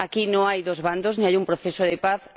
Aquí no hay dos bandos, ni hay un proceso de paz